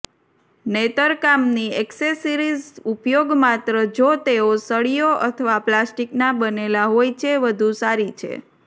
નેતરકામની accessories ઉપયોગ માત્ર જો તેઓ સળીઓ અથવા પ્લાસ્ટિકના બનેલા હોય છે વધુ સારી છે